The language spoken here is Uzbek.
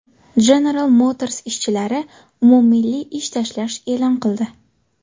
General Motors ishchilari umummilliy ish tashlash e’lon qildi.